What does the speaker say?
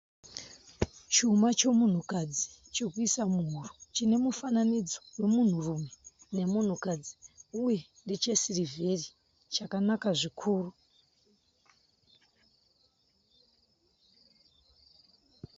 Chuma chomunhukadzi chokuisa muhuro chine mufananidzo wemunhurume nemunhukadzi uye ndeche sirivheri chakanaka zvikuru.